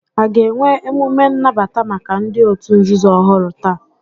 A ga-enwe emume nnabata maka ndị òtù nzuzo ọhụrụ taa?